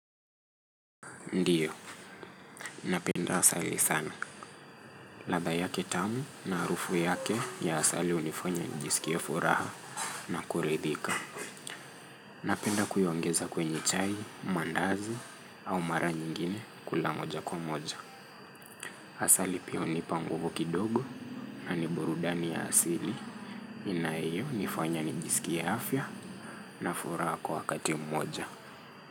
Ndiyo, napenda asali sana. Ladha yake tamu na harufu yake ya asali hunifanya njisikie furaha na kuridhika. Napenda kuyaongeza kwenye chai, mandazi au mara nyingine kula moja kwa moja. Asali pia hunipa nguvu kidogo na ni burudani ya asili. Inayo nifanya njisikie afya na furaha kwa kati moja.